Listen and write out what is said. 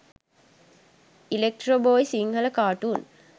electro boy sinhala cartoon